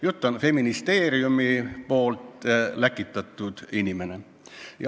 Jutt on Feministeeriumi läkitatud inimesest.